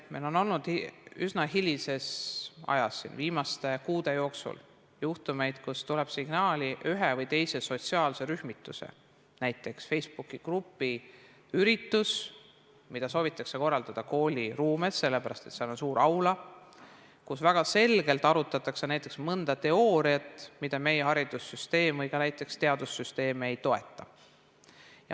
Meil on olnud üsna hiljuti, viimaste kuude jooksul juhtumeid, kui on tulnud signaale ühe või teise sotsiaalse rühmituse, näiteks Facebooki grupi ürituse kohta, mida soovitakse korraldada kooli ruumis, sellepärast et seal on suur aula, aga seal väga selgelt arutatakse näiteks mõnda teooriat, mida meie haridussüsteem või ka näiteks teadussüsteem ei toeta.